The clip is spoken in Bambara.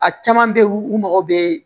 A caman bɛ yen u mago bɛ